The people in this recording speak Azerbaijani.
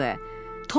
Tom onu səslədi.